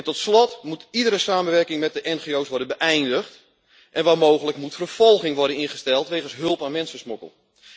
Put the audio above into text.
Tot slot moet iedere samenwerking met de ngo's worden beëindigd en waar mogelijk moet vervolging worden ingesteld wegens hulp aan mensensmokkel.